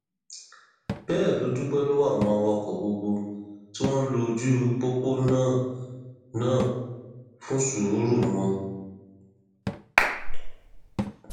bẹẹ ló dúpẹ lọwọ àwọn awakọ gbogbo tí wọn ń lo ojú pópó náà náà fún sùúrù wọn